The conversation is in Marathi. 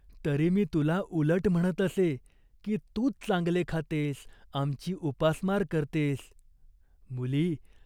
तरी मी तुला उलट म्हणत असे, की तूच चांगले खातेस, आमची उपासमार करतेस. मुली !